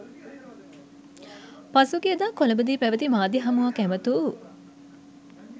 පසුගියදා කොළඹදී පැවති මාධ්‍ය හමුවක් ඇමතූ